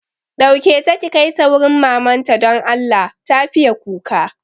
Ɗauke ta ki kaita wurin mamanta don Allah, ta fiye kuka